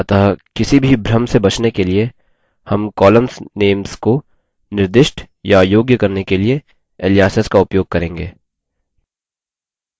अतः किसी भी भ्रम से बचने के लिए names कॉलम्स names को निर्दिष्ट या योग्य करने के लिए aliases का उपयोग करेंगे